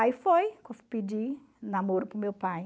Aí foi pedir namoro para o meu pai.